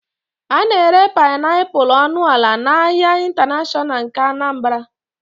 A na-ere painiapulu ọnụ ala n'ahịa ịntanashọnal nke Anambra